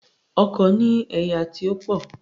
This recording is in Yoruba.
Ọkò ní ẹ̀yà tí ó pò